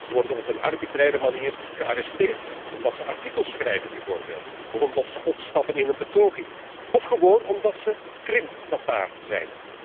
Ze worden op een arbitraire manier gearresteerd omdat ze artikels schrijven bijvoorbeeld of omdat ze opstappen in een betoging of gewoon omdat ze Krim Tataar zijn.